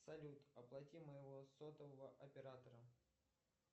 салют оплати моего сотового оператора